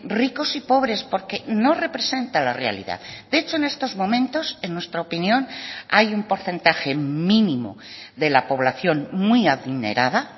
ricos y pobres porque no representa la realidad de hecho en estos momentos en nuestra opinión hay un porcentaje mínimo de la población muy adinerada